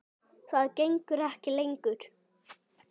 Það gengur ekki lengur.